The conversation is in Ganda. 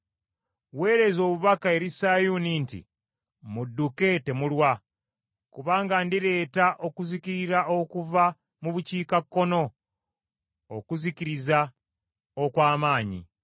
Weereza obubaka eri Sayuuni nti, Mudduke temulwa, kubanga ndireeta okuzikiriza okuva mu bukiikakkono, okuzikiriza okw’amaanyi.”